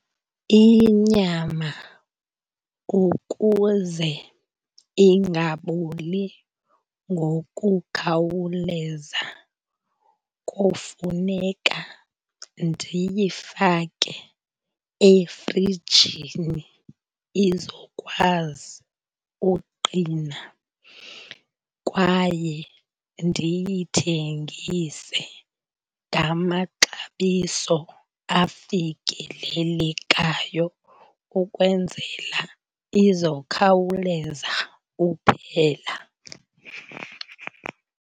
Inyama kukuze ingaboli ngokukhawuleza kofuneka ndiyifake efrijini izokwazi uqina kwaye ndiyithengise ngamaxabiso afikelelekayo ukwenzela izokhawuleza uphela.